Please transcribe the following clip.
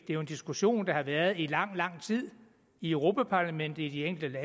er jo en diskussion der har været ført i lang lang tid i europa parlamentet i de enkelte